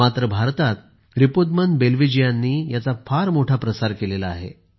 मात्र भारतात रीपुदमन बेल्वीजीयांनी याचा फार मोठा प्रसार केला आहे